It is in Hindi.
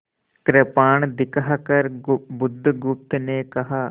कृपाण दिखाकर बुधगुप्त ने कहा